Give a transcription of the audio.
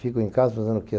Fico em casa fazendo o quê?